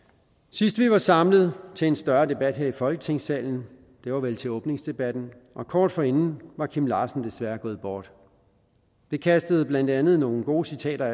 sidst vi var samlet til en større debat her i folketingssalen var vel til åbningsdebatten og kort forinden var kim larsen desværre gået bort det kastede blandt andet nogle gode citater